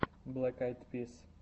блэк айд пис